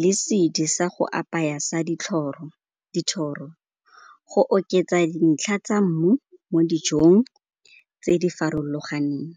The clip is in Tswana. le sedi sa go apaya sa dithoro, go oketsa dintlha tsa mmu mo dijong tse di farologaneng.